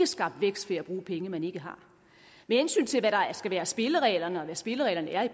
skabt vækst ved at bruge penge man ikke har med hensyn til hvad der skal være spillereglerne og hvad spillereglerne er